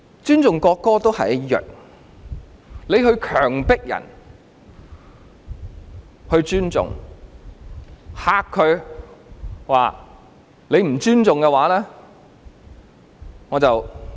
尊重國歌也是一樣的，強迫別人尊重、威嚇對方說："若你不尊重，便送你入獄"。